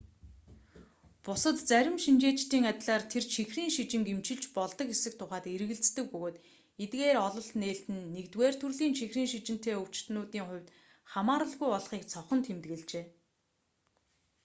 бусад зарим шинжээчдийн адилаар тэр чихрийн шижинг эмчилж болдог эсэх тухайд эргэлздэг бөгөөд эдгээр ололт нээлт нь 1-р төрлийн чихрийн шижинтэй өвчтөнүүдийн хувьд хамааралгүй болохыг цохон тэмдэглэжээ